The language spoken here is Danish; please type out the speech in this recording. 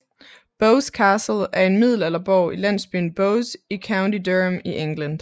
Bowes Castle er en middelalderborg i landsbyen Bowes i County Durham i England